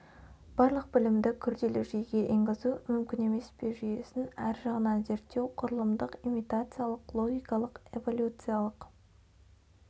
барлық білімді күрделі жүйеге енгізу мүмкін емес пе жүйесін әр жағынан зерттеу құрылымдық имитациалық логикалық эволюциалық